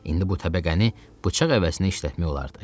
İndi bu təbəqəni bıçaq əvəzinə işlətmək olardı.